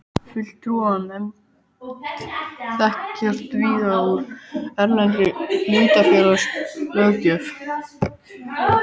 Fulltrúanefndir þekkjast víða úr erlendri hlutafélagalöggjöf.